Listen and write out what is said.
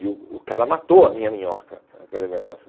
E o o cara matou a minha minhoca, aquele negócio.